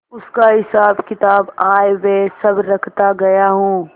उसका हिसाबकिताब आयव्यय सब रखता गया हूँ